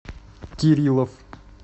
кириллов